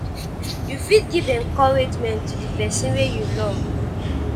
you fit give encouragement to di person wey you love